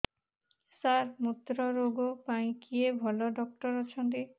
ସାର ମୁତ୍ରରୋଗ ପାଇଁ କିଏ ଭଲ ଡକ୍ଟର ଅଛନ୍ତି